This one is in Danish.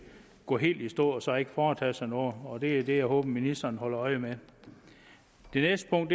går helt i stå og så ikke foretager sig noget og det er det jeg håber ministeren holder øje med det næste punkt